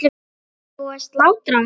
Var ekki búið að slátra?